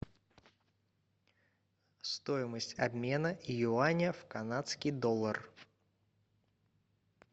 стоимость обмена юаня в канадский доллар